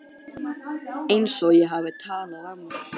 Einsog ég hafi talað af mér.